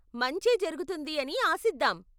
మంచే జరుగుతుంది అని ఆశిద్దాం.